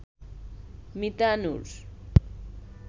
Mita Noor